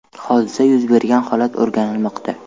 Hodisa yuz bergan holat o‘rganilmoqda.